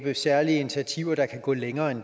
nå